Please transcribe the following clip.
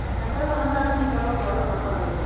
mpesa nochaki higa alufu ariyo gapargabirio